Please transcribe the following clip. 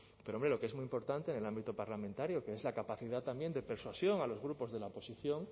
pero hombre lo que es muy importante en el ámbito parlamentario que es la capacidad de persuasión a los grupos de la oposición